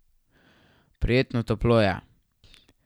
Prijetno toplo je.